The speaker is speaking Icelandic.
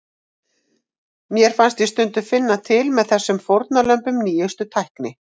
Mér fannst ég stundum finna til með þessum fórnarlömbum nýjustu tækni.